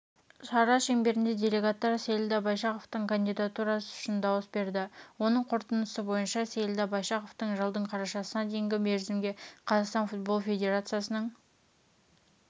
шара шеңберінде делегаттар сейілдә байшақовтың кандидатурасы үшін дауыс берді оның қорытындысы бойынша сейілда байшақов жылдың қарашасына дейінгі мерзімге қазақстан футбол федерациясының